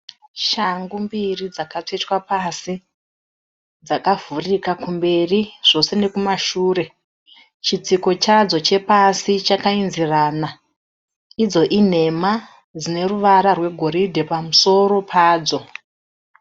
Shangu mbiri dzakatsvetwa pasi, dzakavhurika kumberi zvose nekumashure. Chitsiko chadzo chepasi chakayenzerana, idzo inhema dzine ruvara rwegoridhe pamusoro padzo.